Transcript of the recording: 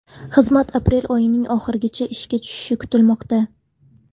Xizmat aprel oyining oxirigacha ishga tushishi kutilmoqda.